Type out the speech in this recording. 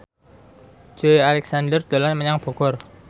Joey Alexander dolan menyang Bogor